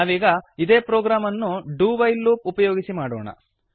ನಾವೀಗ ಇದೇ ಪ್ರೊಗ್ರಾಮ್ ಅನ್ನು ಡು ವೈಲ್ ಲೂಪ್ ಉಪಯೋಗಿಸಿ ಮಾಡೋಣ